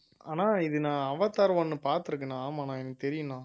ஆனா இது நான் அவதார் one பார்த்திருக்கேண்ணா ஆமாண்ணா எனக்கு தெரியுண்ணா